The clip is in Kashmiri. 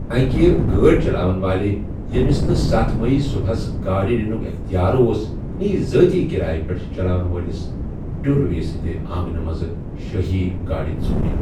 اَکہِ گٲڑ چَلاون وٲلہِ ، ییٚمِس نہٕ ستھَ میی صُبحس گاڑِ نِنُک اِختِیار اوس، نِیہِ ذٲتی کِرایہِ پیٚٹھ چَلاون وٲلِس ڈیٛول وے سٕنٛدِ آنٛگنہٕ منٛزٕ شٲہی گٲڑِ ژوٗرِ۔